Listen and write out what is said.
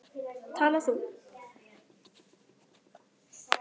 Tala þú.